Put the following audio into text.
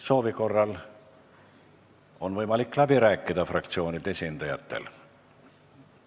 Soovi korral on fraktsioonide esindajatel võimalik läbi rääkida.